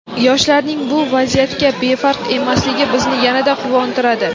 yoshlarning bu vaziyatga befarq emasligi bizni yanada quvontiradi.